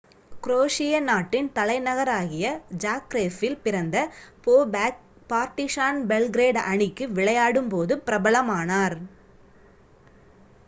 குரேஷிய நாட்டின் தலைநகராகிய ஜாக்ரேபில் பிறந்த போபேக் பார்டிசான் பெல்கிரேட் அணிக்கு விளையாடும் போது பிரபலமானார்